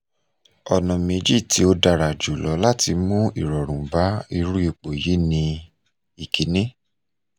ona meji ti odara julo lati mu irorun ba iru ipo yi ni - ikini